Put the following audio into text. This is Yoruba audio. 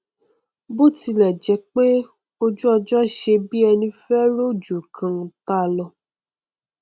bótilẹjẹpé ojúọjọ ṣe bí ẹní fẹ rọjò nkan táa lọ